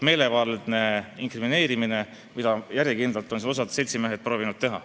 See on meelevaldne inkrimineerimine, mida järjekindlalt osa seltsimehi on siin proovinud teha.